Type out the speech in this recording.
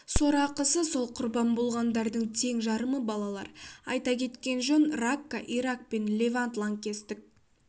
сорақысы сол құрбан болғандардың тең жарымы балалар айта кеткен жөн ракка ирак пен левант лаңкестік